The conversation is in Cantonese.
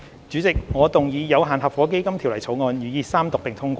主席，我動議《有限合夥基金條例草案》予以三讀並通過。